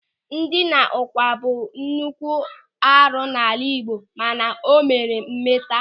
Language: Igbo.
Ndina ụ̀gwa bụ nnukwu arụ n'ala Igbo mana o nwere mmeta.